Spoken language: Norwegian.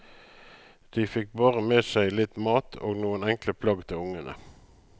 De fikk bare med seg litt mat og noen enkle plagg til ungene.